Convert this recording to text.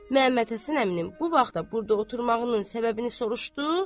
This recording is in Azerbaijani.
Məmmədhəsən əminin bu vaxta burda oturmağının səbəbini soruşdu?